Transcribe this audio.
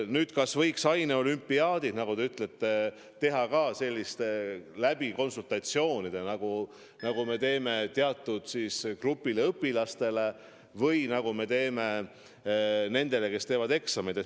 Nüüd, kas võiks lubada ka aineolümpiaadideks selliseid konsultatsioone, nagu me lubame teatud grupile õpilastele, kes teevad eksameid?